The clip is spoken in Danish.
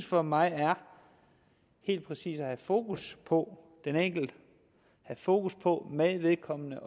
for mig helt præcis er at have fokus på den enkelte have fokus på med vedkommende